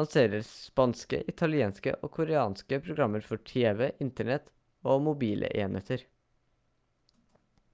lanserer spanske italienske og koreanske programmer for tv internett og mobile enheter